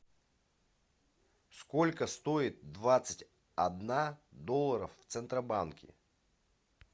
сколько стоит двадцать одна долларов в центробанке